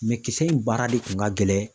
kisɛ in baara de kun ka gɛlɛn